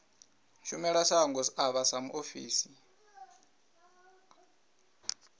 shumele shango avho sa muofisi